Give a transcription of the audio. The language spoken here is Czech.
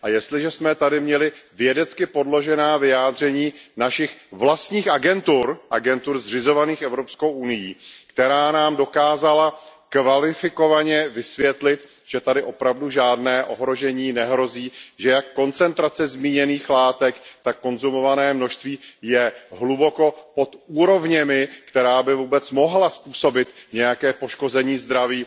Jestliže jsme tady měli vědecky podložená vyjádření našich vlastních agentur, agentur zřizovaných Evropskou unií, která nám dokázala kvalifikovaně vysvětlit, že tady opravdu žádné ohrožení nehrozí, že jak koncentrace zmíněných látek, tak konzumované množství je hluboko pod úrovněmi, které by vůbec mohly způsobit nějaké poškození zdraví.